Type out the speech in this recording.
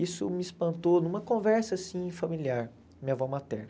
Isso me espantou numa conversa assim familiar com minha avó materna.